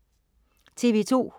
TV2: